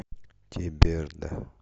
теберда